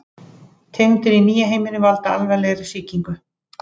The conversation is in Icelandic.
Tegundir í nýja heiminum valda alvarlegri sýkingum.